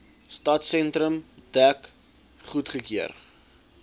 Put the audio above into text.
stadsentrum dek goedgekeur